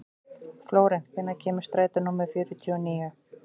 Flórent, hvenær kemur strætó númer fjörutíu og níu?